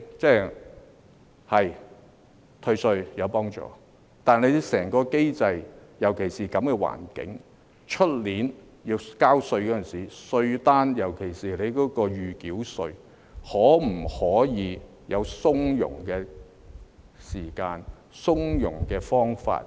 對，退稅是有幫助的，但就整個機制而言，尤其是在這樣的環境下，明年要交稅時，稅單上，特別是預繳稅方面，可否提供從容的時間、從容的方法？